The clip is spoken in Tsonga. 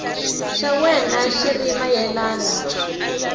xa wena xi ri mayelana